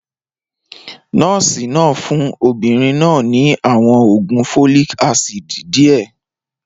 Nọ́ọ̀sì náà fún obìnrin náà ní àwọn oògùn folic acid díẹ̀.